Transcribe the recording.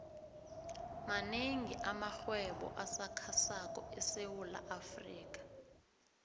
manengi amarhwebo asakhasako esewula afrika